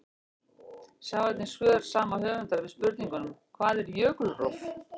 Sjá einnig svör sama höfundar við spurningunum: Hvað er jökulrof?